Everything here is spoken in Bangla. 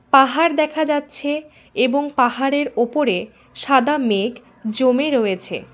পাহাড় দেখা যাচ্ছে এবং পাহাড়ের ওপরে সাদা মেঘ জমে রয়েছে।